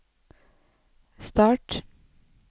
start